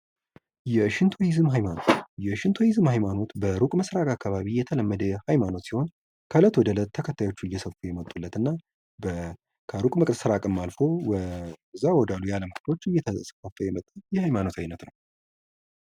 የሽንቶይዝም ሃይማኖት የሽንቶይዝም ሃይማኖት በሩቅ ምስራቅ አካባቢ የተለመደ ሃይማኖት ሲሆን ከእለት ወደ ዕለት ተከታዮች እየሰፉበት የመጡለትና በሩቅ ምስራቅም አልፎ ያሉ የአለም ክፍሎች እየተስፋፋ የመጣ የሀይማኖት አይነት ነው።